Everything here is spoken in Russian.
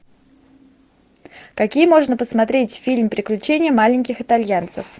какие можно посмотреть фильм приключения маленьких итальянцев